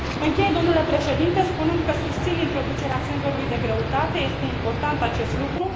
Închei, domnule președinte, spunând că susțin introducerea senzorului de greutate, este important acest lucru.